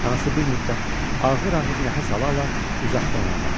Anası bir müddət ağır-ağır nəfəs ala-ala uzaqdan ona baxdı.